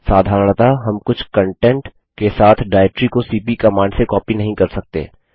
साधारणतः हम कुछ कन्टेंट के साथ डाइरेक्टरी को सीपी कमांड से कॉपी नहीं कर सकते